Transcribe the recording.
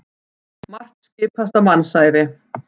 Margt skipast á mannsævi.